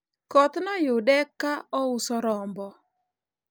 koth noyude ka ouso rombo